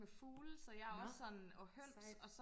med fugle så jeg er også sådan og høns